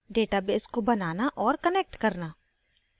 database को बनाना औऱ कनेक्ट करना